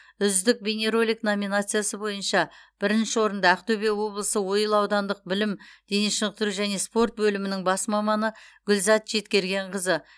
үздік бейнеролик номинациясы бойынша бірінші орынды ақтөбе облысы ойыл аудандық білім дене шынықтыру және спорт бөлімінің бас маманы гүлзат жеткергенқызы